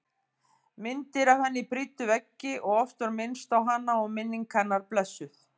Myndir af henni prýddu veggi og oft var minnst á hana og minning hennar blessuð.